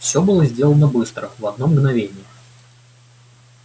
всё было сделано быстро в одно мгновение